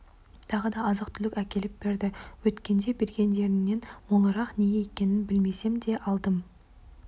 тағы да азық-түлік әкеліп берді өткенде бергендерінен молырақ не екенін білмесем де алдым